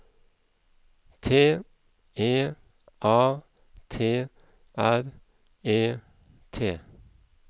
T E A T R E T